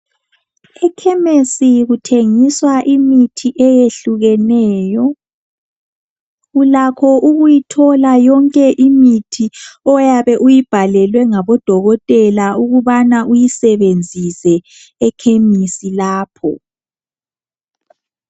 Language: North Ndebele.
Ekhemesi kuthengiswa imithi eyehlukeneyo. Ulakho ukuthila yonke imithi oyabe uyibhalelwe ngodokotela ukubana uyisebenzise ekhemisi lapho.